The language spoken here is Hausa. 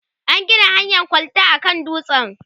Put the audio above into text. an Gina hanyan kwalta a kan dutsen